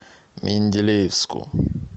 менделеевску